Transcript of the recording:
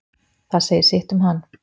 Það segir sitt um hann.